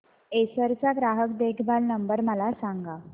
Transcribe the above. Acer चा ग्राहक देखभाल नंबर मला सांगा